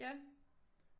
Ja